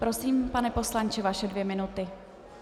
Prosím, pane poslanče, vaše dvě minuty.